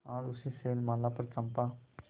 आज उसी शैलमाला पर चंपा